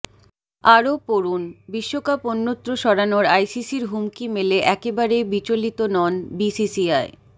আরও পড়ুনঃবিশ্বকাপ অন্যত্র সরানোর আইসিসির হুমকি মেলে একেবারেই বিচলতি নয় বিসিসিআই